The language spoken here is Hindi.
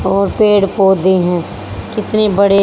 और पेड़ पौधे हैं कितने बड़े--